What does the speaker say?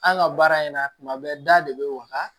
An ka baara in na tuma bɛɛ da de be waga